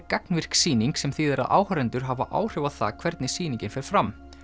gagnvirk sýning sem þýðir að áhorfendur hafa áhrif á það hvernig sýningin fer fram